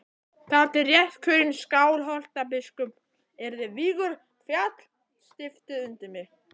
Þar til réttkjörinn Skálholtsbiskup yrði vígður féll stiftið undir mig.